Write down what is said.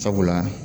Sabula